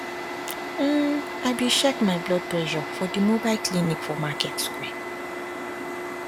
um i be check my blood presure for the mobile clinic for market square